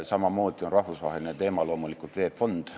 Samamoodi on rahvusvaheline teema loomulikult VEB Fond.